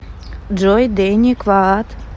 джой дэни кваад